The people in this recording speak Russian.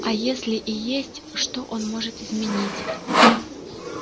а если и есть что он может изменить